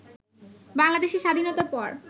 বাংলাদেশের স্বাধীনতার পর